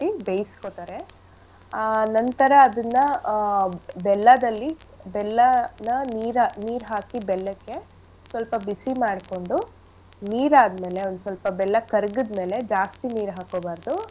ಬೇಯಿಸ್ಕೊತಾರೆ ಆ ನಂತರ ಅದನ್ನಆ ಬೆಲ್ಲದಲ್ಲಿ ಬೆಲ್ಲನ ನೀರ್ ನೀರ್ ಹಾಕಿ ಬೆಲ್ಲಕ್ಕೆ ಸೊಲ್ಪ ಬಿಸಿ ಮಾಡ್ಕೊಂಡು ನೀರ್ ಆದ್ಮೇಲೆ ಒಂದ್ ಸೊಲ್ಪ ಬೆಲ್ಲ ಕರ್ಗಿದ್ ಮೇಲೆ ಜಾಸ್ತಿ ನೀರ್ ಹಾಕೋಬಾರ್ದು.